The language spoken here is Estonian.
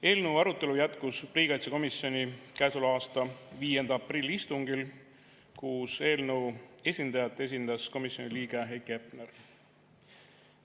Eelnõu arutelu jätkus riigikaitsekomisjoni käesoleva aasta 5. aprilli istungil, kus eelnõu esitajat esindas komisjoni liige Heiki Hepner.